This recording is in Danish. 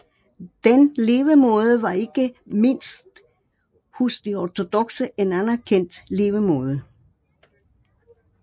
Den levemåde var ikke mindst hos de ortodokse en anerkendt levemåde